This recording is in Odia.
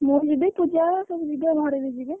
ଆମ ଘରେ ଯିବେ ସବୁପୂଜା ଆମ ଘରେ ବି ଯିବେ।